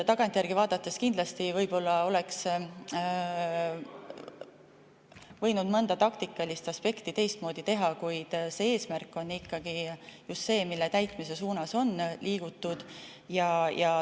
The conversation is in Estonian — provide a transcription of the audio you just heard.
Tagantjärele vaadates oleks kindlasti võinud mõnda taktikalist aspekti teistmoodi teha, kuid eesmärk on ikkagi just see, mille täitmise suunas on liigutud.